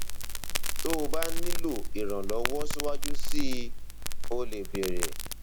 tó o bá nílò ìrànlọwọ síwájú sí i o lè béèrè